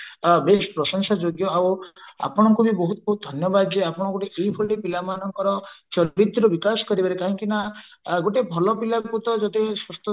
ବେଶ ପ୍ରଶଂସ୍ୟଯୋଗ୍ୟ ଆଉ ଆପଣଙ୍କୁ ବି ବହୁତ ବହୁତ ଧନ୍ୟବାଦ ଯେ ଆପଣ ଗୋଟେ ଏଇଭଳି ପିଲାମାନଙ୍କର ଚରିତ୍ର ବିକାଶ କରିବାରେ କାହିଁକି ନା ଗୋଟେ ଭଲ ପିଲାକୁ ତ ଯଦି